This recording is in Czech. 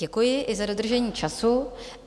Děkuji i za dodržení času.